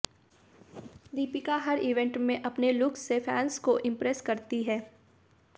दीपिका हर इवेंट में अपने लुक्स से फैंस को इंप्रेस करती हैं